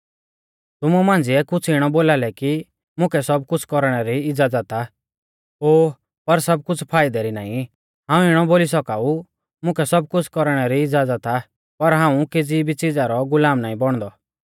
तुमु मांझ़िऐ कुछ़ इणौ बोलालै कि मुकै सब कुछ़ कौरणै री इज़्ज़ाज़त आ ओ पर सब कुछ़ फाइदै री नाईं हाऊं इणौ बोली सौका ऊ मुकै सब कुछ़ कौरणै इज़्ज़ाज़त आ पर हाऊं केज़ी भी च़िज़ा रौ गुलाम नाईं बौणदौ